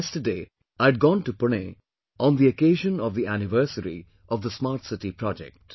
Yesterday I had gone to Pune, on the occasion of the anniversary of the Smart City Project